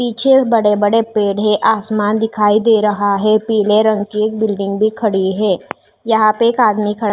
पीछे बड़े बड़े पेड़ है आसमान दिखाई दे रहा है पीले रंग की एक बिल्डिंग भी खड़ी है यहाँ पर एक आदमी खड़ा --